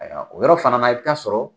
Ayiwa, o yɔrɔ fana na i bɛ t'a sɔrɔ